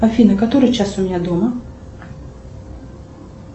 афина который час у меня дома